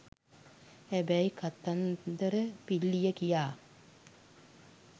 හැබැයි කතන්දර පිල්ලිය කියා